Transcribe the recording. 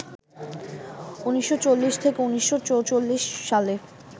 ১৯৪০ থেকে ১৯৪৪ সালে